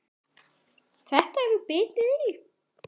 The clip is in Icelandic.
Þetta hefur bitið í?